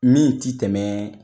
Min t'i tɛmɛ